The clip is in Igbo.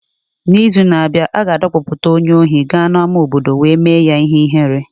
N’izu na-abịa, a ga-adọkpụpụta onye ohi gaa n'ama obodo wee mee ya ihere.